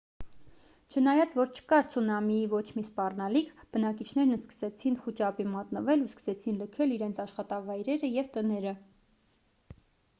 չնայած որ չկար ցունամիի ոչ մի սպառնալիք բնակիչներն սկսեցին խուճապի մատնվել ու սկսեցին լքել իրենց աշխատավայրերը և տները